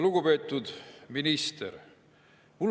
Lugupeetud minister!